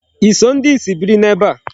I so ndị ìsì biri ebe a?